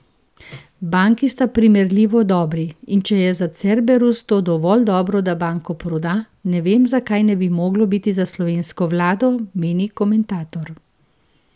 Banki sta primerljivo dobri, in če je za Cerberus to dovolj dobro, da banko proda, ne vem, zakaj ne bi moglo biti za slovensko vlado, meni komentator.